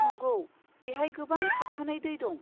नंगौ, बेहाय गोबां थाबथानाय दै दं।